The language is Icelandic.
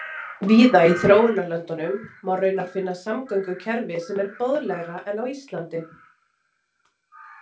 Víða í þróunarlöndum má raunar finna samgöngukerfi sem er boðlegra en á Íslandi.